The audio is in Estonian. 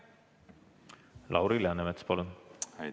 Lauri Läänemets, palun!